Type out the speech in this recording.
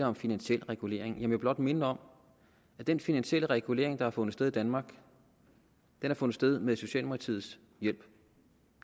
om finansiel regulering og jeg vil blot minde om at den finansielle regulering der har fundet sted i danmark har fundet sted med socialdemokratiets hjælp